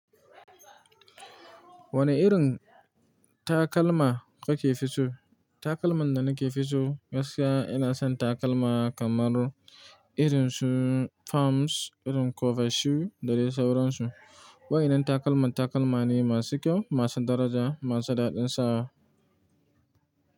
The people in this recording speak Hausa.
Wane irin takalma kake fi so? Takalman da nake fi so gaskiya ina son takalma kamar irin su Palms, irin cover shoe da dai sauransu. Wayanan takalman takalma ne masu kyau, masu daraja, masu daɗin sawa.